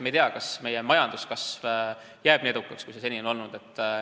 Me ei tea, kas meie majanduskasv jääb nii heaks, kui see seni on olnud.